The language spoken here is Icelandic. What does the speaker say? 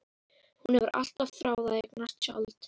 Hún hefur alltaf þráð að eignast tjald.